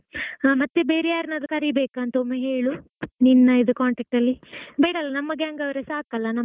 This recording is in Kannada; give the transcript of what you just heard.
ಹಾ ಮತ್ತೆ ಬೇರೆ ಯಾರನ್ನಾದ್ರೂ ಕರಿಬೇಕಾ ಅಂತಾ ಒಮ್ಮೆ ಹೇಳು ನಿನ್ನ ಇದು contact ಅಲ್ಲಿ ಬೇಡಾ ಅಲ್ಲಾ ನಮ್ಮgang ಅವ್ರೆ ಸಾಕಲ್ಲ .